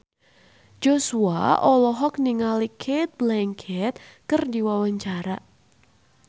Joshua olohok ningali Cate Blanchett keur diwawancara